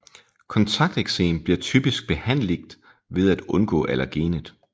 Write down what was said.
Kontakteksem bliver typisk behandligt ved at undgå allergenet